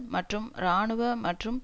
மற்றும் இராணுவ மற்றும்